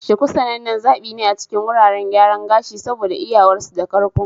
Shuku sanannen zaɓi ne a cikin wuraren gyaran gashi saboda iyawarsu da karko.